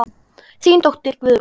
Þín dóttir Guðrún.